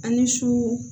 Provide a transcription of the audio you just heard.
An ni su